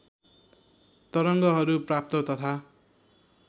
तरङ्गहरू प्राप्त तथा